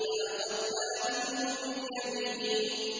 لَأَخَذْنَا مِنْهُ بِالْيَمِينِ